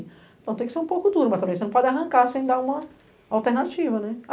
Então tem que ser um pouco duro, mas também você não pode arrancar sem dar uma alternativa.